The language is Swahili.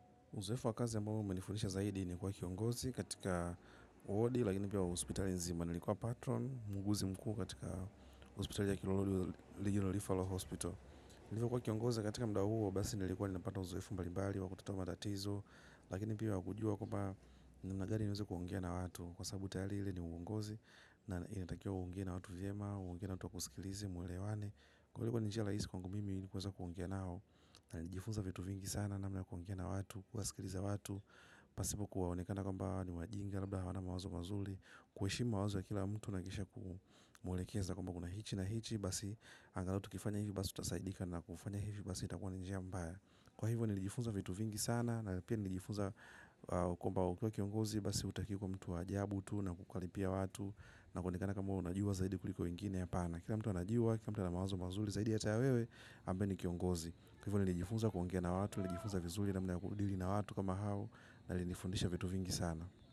Uzoefu wakazi ya mbamu mmanifunisha zaidi ni kwa kiongozi katika wodi, lakini pia hospitali nzima nilikuwa patron, muuguzi mkuu katika hospitali ya kilolodi liju na lifalo hospital. Nilikuwa kiongozi katika muda huo, basi nilikuwa ninapata uzoefu mbalimbali, wakutatua mstatizo, lakini pia wakujua kwamba ni namna gani niweze kuongea na watu. Kwa sababu tayali ile ni uongozi, na inatakiwa uonge na watu vyema, uongee na watu wa kusikilize, mwelewane. Na nijifunza vitu vingi sana na mna kuongea na watu, kuwasikiliza watu pasipo kuwaonekana kumbawa ni wajinga, labda hawana mawazo mazuli. Kuheshimu mawazo wa kila mtu na kisha kumuelekeza kwamba kuna hichi na hichi. Basi angalau tukifanya hivi basi tutasaidika na kufanya hivi basi itakua nijia mbaya. Kwa hivyo nijifunza vitu vingi sana na pia nijifunza kwamba ukiwa kiongozi basi utakiwi kuwa mtu wa jabu tu na kukaribia watu na kuonekana kwamba we unajua zaidi kuliko wengine hapana. Kila mtu anajua, kira mtu ana mawazo mazuli, zaidi hata ya wewe, ambae ni kiongozi. Hivo ni lijifunza kuongea na watu, nilijifunza vizuli namna kudili na watu kama hao na linifundisha vitu vingi sana.